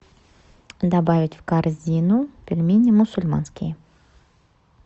добавить в корзину пельмени мусульманские